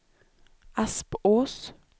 Aspås